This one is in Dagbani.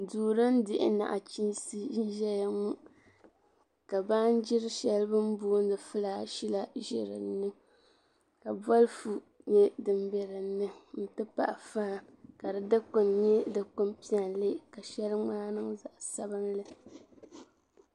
Duu din dihi nachiinsi n ʒɛya ŋɔ ka baanjiri shɛli bi ni boondi filash la bɛ dinni ka bolfu nyɛ din bɛ dinni n ti pahi faan ka di dikpuni nyɛ dikpuni piɛlli ka shɛli ŋmaa niŋ zaɣ sabinli